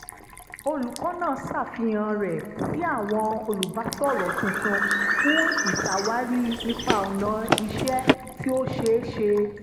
olùkọ́ni náà ṣàfihàn rẹ̀ sí àwọn olùbásọ̀rọ̀ tuntun fún ìṣàwárí ipa ọnà iṣẹ́ tí ó ṣe é ṣe